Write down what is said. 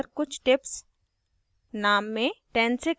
user की जानकारी पर कुछ tips